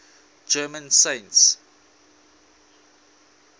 german saints